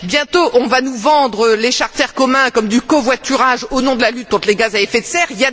Bientôt, on va nous vendre les charters communs comme du covoiturage au nom de la lutte contre les gaz à effet de serre.